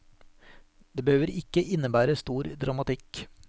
Det behøver ikke innebære stor dramatikk.